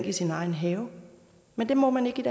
i sin egen have men det må man ikke